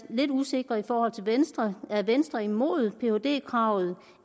er lidt usikker i forhold til venstre er venstre imod phd kravet